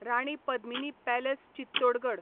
Rani Padmini palace Chittorgarh